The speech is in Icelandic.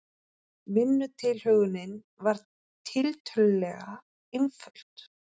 Vinnutilhögunin var tiltölulega einföld.